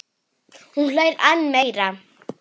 Hún hlær enn meira.